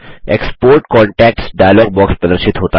export contacts dialog box प्रदर्शित होता है